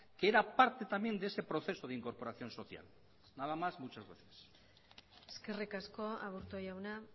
que era parte también de ese proceso de incorporación social nada más muchas gracias eskerrik asko aburto jauna